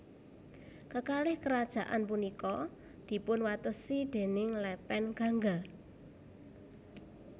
Kekalih kerajaan punika dipun watesi déning lepen Gangga